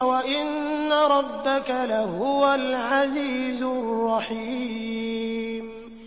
وَإِنَّ رَبَّكَ لَهُوَ الْعَزِيزُ الرَّحِيمُ